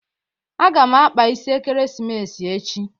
Aga m akpa isi Ekeresimesi echi.